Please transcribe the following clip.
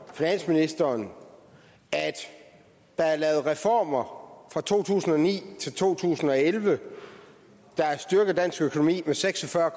finansministeren at der er lavet reformer fra to tusind og ni til to tusind og elleve der har styrket dansk økonomi med seks og fyrre